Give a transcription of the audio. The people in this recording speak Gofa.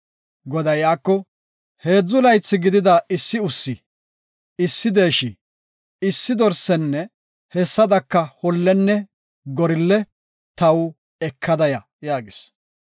Goday iyako, “Heedzu laythi gidida issi ussi, issi deeshi, issi dorsenne hessadaka hollenne gorille taw ekada ya” yaagis.